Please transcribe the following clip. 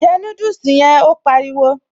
Jẹ núdùsì yẹn', Ó pariwo